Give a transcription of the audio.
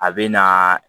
A bɛ na